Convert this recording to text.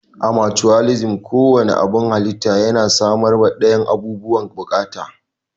A mucuwalisim, ko wanne abun halitta yana samarwa dayan abubuwan bukata.